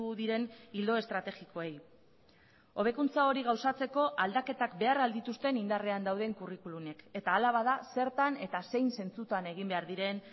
diren ildo estrategikoei hobekuntza hori gauzatzeko aldaketak behar ahal dituzten indarrean dauden curriculumek eta hala bada zertan eta zein zentzutan egin behar diren